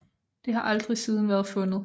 Det har aldrig siden været fundet